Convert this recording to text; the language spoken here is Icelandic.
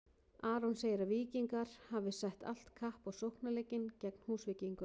Aron segir að Víkingar hafi sett allt kapp á sóknarleikinn gegn Húsvíkingum.